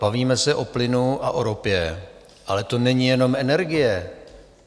Bavíme se o plynu a o ropě, ale to není jenom energie.